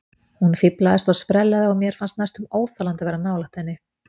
Hún fíflaðist og sprellaði og mér fannst næstum óþolandi að vera nálægt henni.